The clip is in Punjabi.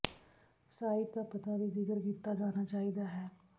ਸਾਈਟ ਦਾ ਪਤਾ ਵੀ ਜ਼ਿਕਰ ਕੀਤਾ ਜਾਣਾ ਚਾਹੀਦਾ ਹੈ